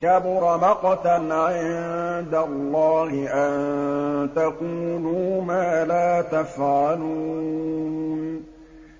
كَبُرَ مَقْتًا عِندَ اللَّهِ أَن تَقُولُوا مَا لَا تَفْعَلُونَ